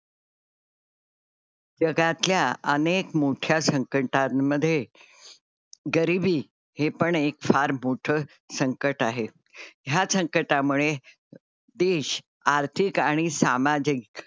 जगातल्या अनेक मोठ्या संकटां मध्ये गरीबी हे पण एक फार मोठं संकट आहे. या संकटा मुळे देश आर्थिक आणि सामाजिक,